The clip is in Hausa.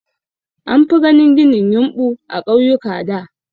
An fi ganin ginin yumɓu a ƙauyuka da.